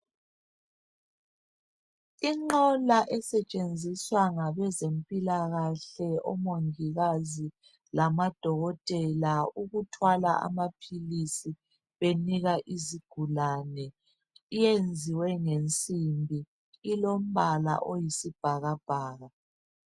Inqola esetshenziswa ngabezempilakahle, omongikazi lamadokotela ukuthwala amaphilisi benika izigulane, iyenziwe ngensimbi. Ilombala oyisibhakabhaka.